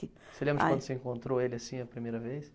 Você lembra de quando você encontrou ele assim, a primeira vez?